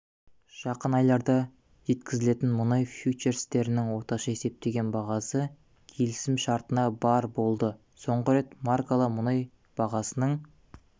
жақын айларда жеткізілетін мұнай фьючерстерінің орташа есептеген бағасы келісімшартына барр болды соңғы рет маркалы мұнай бағасының